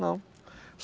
Não.